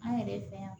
An yɛrɛ fɛ yan